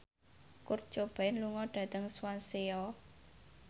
Kurt Cobain lunga dhateng Swansea